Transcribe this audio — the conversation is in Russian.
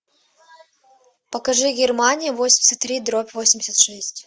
покажи германия восемьдесят три дробь восемьдесят шесть